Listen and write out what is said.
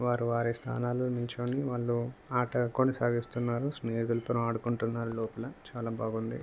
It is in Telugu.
వారు వారి స్థానాల్లో నుంచొని వాళ్ళు ఆట కొనసాగిస్తున్నారు స్నేహితులతోని ఆడుకుంటున్నారు లోపల చాలా బాగుంది.